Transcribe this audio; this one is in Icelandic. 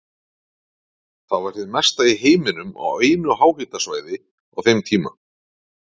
Það var hið mesta í heiminum á einu háhitasvæði á þeim tíma.